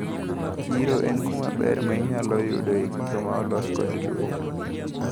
Chiro en kumaber mainyalo yudoe gigo maolos kod lwedo.